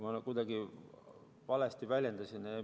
Ma vist kuidagi valesti väljendusin.